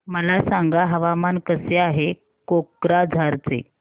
मला सांगा हवामान कसे आहे कोक्राझार चे